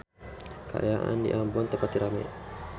Kaayaan di Ambon teu pati rame